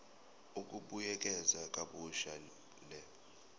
ukubuyekeza kabusha le